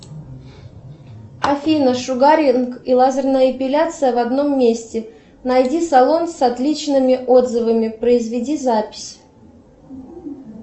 афина шугаринг и лазерная эпиляция в одном месте найди салон с отличными отзывами произведи запись